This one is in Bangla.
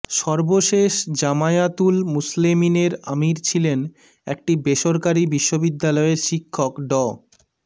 সর্বশেষ জামায়াতুল মুসলেমিনের আমির ছিলেন একটি বেসরকারি বিশ্ববিদ্যালয়ের শিক্ষক ড